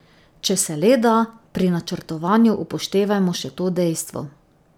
Če se le da, pri načrtovanju upoštevajmo še to dejstvo.